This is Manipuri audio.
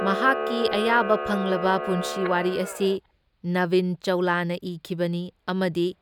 ꯃꯍꯥꯛꯀꯤ ꯑꯌꯥꯕ ꯐꯪꯂꯕ ꯄꯨꯟꯁꯤ ꯋꯥꯔꯤ ꯑꯁꯤ ꯅꯕꯤꯟ ꯆꯧꯂꯥꯅ ꯏꯈꯤꯕꯅꯤ ꯑꯃꯗꯤ